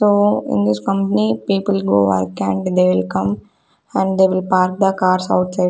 So in this company people go work and they will come and they will park the cars outside.